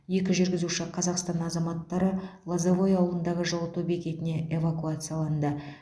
екі жүргізуші қазақстан азаматтары лозовое ауылындағы жылыту бекетіне эвакуацияланды